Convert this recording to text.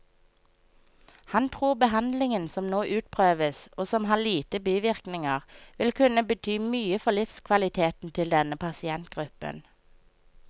Han tror behandlingen som nå utprøves, og som har lite bivirkninger, vil kunne bety mye for livskvaliteten til denne pasientgruppen.